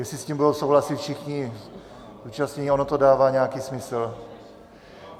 Jestli s tím budou souhlasit všichni zúčastnění, ono to dává nějaký smysl.